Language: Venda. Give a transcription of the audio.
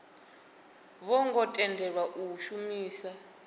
vho ngo tendelwa u shumisa